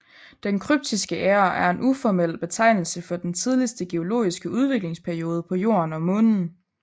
Den Kryptiske æra er en uformel betegnelse for den tidligste geologiske udviklingsperiode på Jorden og Månen